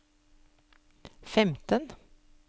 femten